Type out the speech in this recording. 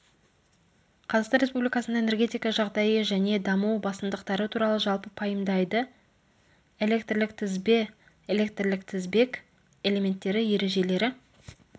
қазақстан республикасында энергетика жағдайы және даму басымдықтары туралы жалпы пайымдайды электрлік тізбе электрлік тізбек элементтері ережелері